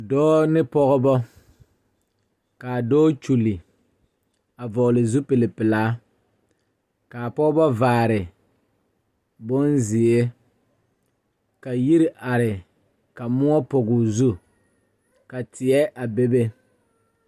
Dɔɔ ne pɔgeba k,a dɔɔ kyulli a vɔgle zupilipelaa k,a pɔgeba vaare bonzeɛ ka yiri are ka moɔ pɔge o zu ka teɛ a bebe.